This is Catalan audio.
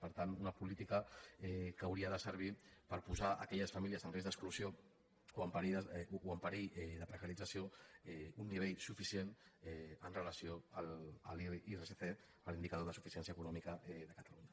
per tant una política que hauria de servir per posar aquelles famílies en risc d’exclusió o en perill de precarització a un nivell suficient amb relació a l’irsc a l’indicador de suficiència econòmica de catalunya